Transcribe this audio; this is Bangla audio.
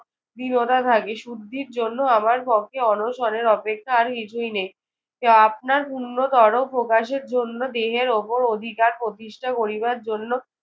দৃঢ়তা থাকে। শুদ্ধির জন্য আমার পক্ষে অনশনের অপেক্ষা আর কিছুই নেই। যা আপনার উন্নতর প্রকাশের জন্য দেহের ওপর অধিকার প্রতিষ্ঠা করিবার জন্য